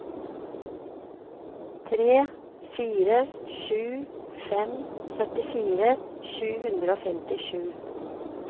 tre fire sju fem syttifire sju hundre og femtisju